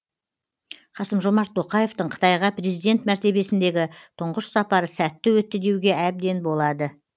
қасым жомарт тоқаевтың қытайға президент мәртебесіндегі тұңғыш сапары сәтті өтті деуге әбден болады